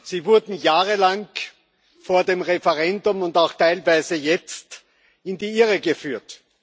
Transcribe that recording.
Sie wurden jahrelang vor dem Referendum und auch teilweise jetzt in die Irre geführt.